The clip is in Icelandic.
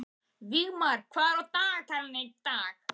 Vígmar, hvað er á dagatalinu í dag?